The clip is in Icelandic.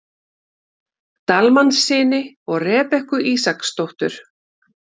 Dalmannssyni og Rebekku Ísaksdóttur.